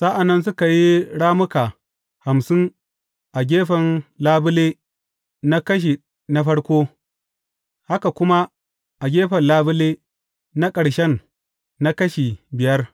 Sa’an nan suka yi rammuka hamsin a gefen labule na kashe na farko, haka kuma a gefen labule na ƙarshen na kashi biyar.